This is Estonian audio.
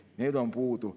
Need on puudu.